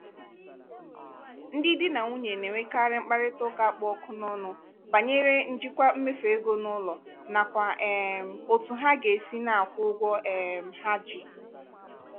ndị di na nwunye na-enwekarị mkparịta ụka kpụ ọkụ n'ọnụ banyere njikwa mmefu ego n'ụlọ nakwa um otú ha ga-esi na-akwụ ụgwọ um ha ji.